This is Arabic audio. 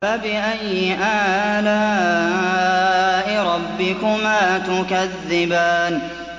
فَبِأَيِّ آلَاءِ رَبِّكُمَا تُكَذِّبَانِ